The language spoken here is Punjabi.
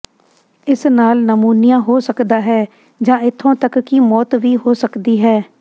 ਇਸ ਨਾਲ ਨਮੂਨੀਆ ਹੋ ਸਕਦਾ ਹੈ ਜਾਂ ਇੱਥੋਂ ਤੱਕ ਕਿ ਮੌਤ ਵੀ ਹੋ ਸਕਦੀ ਹੈ